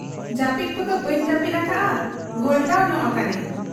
ᱡᱟᱹᱯᱤᱫ ᱠᱚᱫᱚ ᱵᱟᱹᱧ ᱡᱟᱹᱯᱤᱫ ᱟᱠᱟᱜ ᱟ, ᱜᱷᱚᱞᱴᱟᱣ ᱧᱚᱜ ᱟᱠᱟᱱᱟᱹᱧ ᱾